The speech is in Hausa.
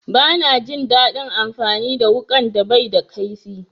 Bana jin daɗin amfani da wuƙan da baida kaifi.